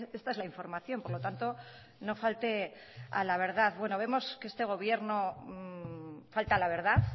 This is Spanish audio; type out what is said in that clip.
esta es la información por lo tanto no falte a la verdad bueno vemos que este gobierno falta a la verdad